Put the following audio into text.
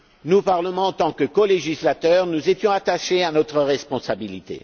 Nous, Parlement, en tant que colégislateur, étions attachés à notre responsabilité.